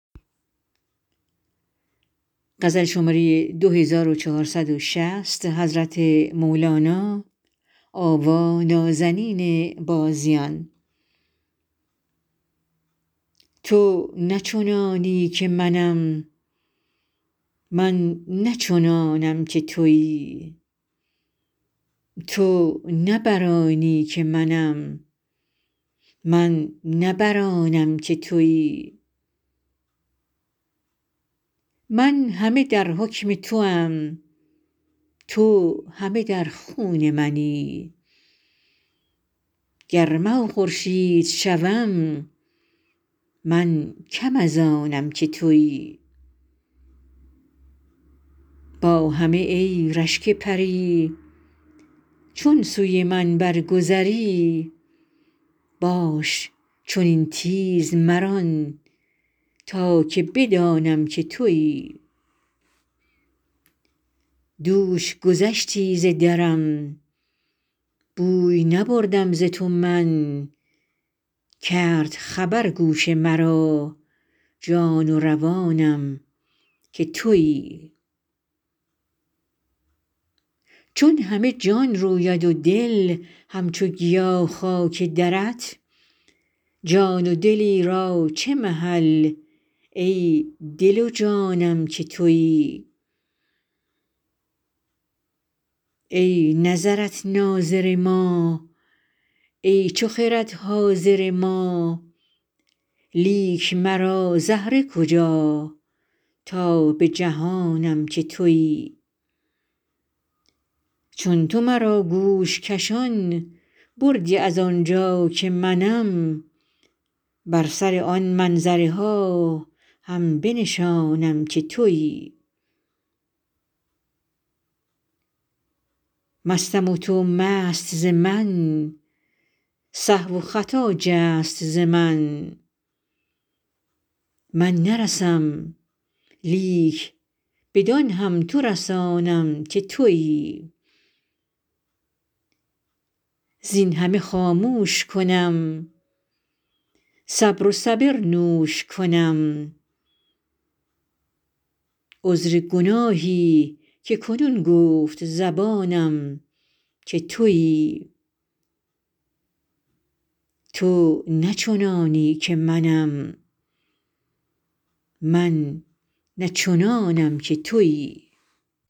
تو نه چنانی که منم من نه چنانم که تویی تو نه بر آنی که منم من نه بر آنم که تویی من همه در حکم توام تو همه در خون منی گر مه و خورشید شوم من کم از آنم که تویی با همه ای رشک پری چون سوی من برگذری باش چنین تیز مران تا که بدانم که تویی دوش گذشتی ز درم بوی نبردم ز تو من کرد خبر گوش مرا جان و روانم که تویی چون همه جان روید و دل همچو گیا خاک درت جان و دلی را چه محل ای دل و جانم که تویی ای نظرت ناظر ما ای چو خرد حاضر ما لیک مرا زهره کجا تا بجهانم که تویی چون تو مرا گوش کشان بردی از آن جا که منم بر سر آن منظره ها هم بنشانم که تویی مستم و تو مست ز من سهو و خطا جست ز من من نرسم لیک بدان هم تو رسانم که تویی زین همه خاموش کنم صبر و صبر نوش کنم عذر گناهی که کنون گفت زبانم که تویی